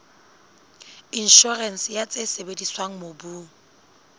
inshorense ya tse sebediswang mobung